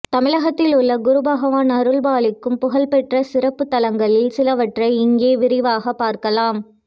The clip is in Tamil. தமிழகத்தில் உள்ள குரு பகவான் அருள்பாலிக்கும் புகழ்பெற்ற சிறப்பு தலங்களில் சிலவற்றை இங்கே விரிவாக பார்க்கலாம்